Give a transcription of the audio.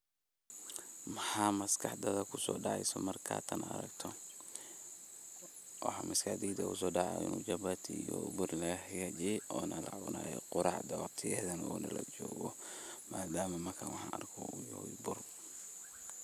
Maxa maskaxdadha kuso dacayso markas tan aragto waxa maskaxdeyda kuso dacayo japati oo buur laga hagaji ona lacunayo quracda waqtigedhana lajooga madama waxan arko yahay buur.